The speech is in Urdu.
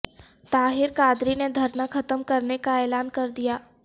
طاہر القادری نے دھرنا ختم کرنے کا اعلان کردیا